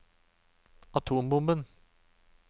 atombomben